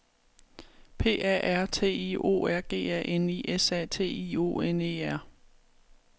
P A R T I O R G A N I S A T I O N E R